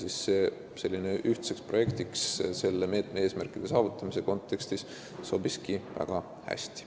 Nii et selline ühtne projekt selle meetme eesmärkide saavutamise kontekstis sobibki väga hästi.